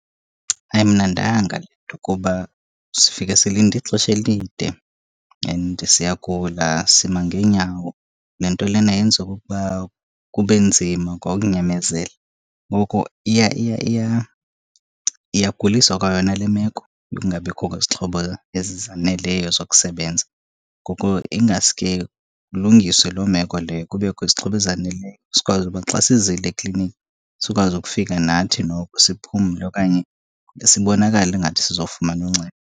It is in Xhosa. Ayimnandanga le nto kuba sifike silinde ixesha elide and siyagula, sima ngeenyawo. Le nto lena yenza okokuba kube nzima kwa ukunyamezela. Ngoko iyagulisa kwa yona le meko yokungabikho kwezixhobo ezi zaneleyo zokusebenza. Ngoko ingaske kulungiswe loo meko leyo, kubekho izixhobo ezaneleyo sikwazi uba xa sizile ekliniki sikwazi ukufika nathi noko siphumle, okanye sibonakale ingathi sizofumana uncedo.